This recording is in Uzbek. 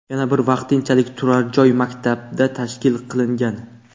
Yana bir vaqtinchalik turar joy maktabda tashkil qilingan.